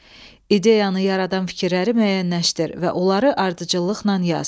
İdeyanı yaradan fikirləri müəyyənləşdir və onları ardıcıllıqla yaz.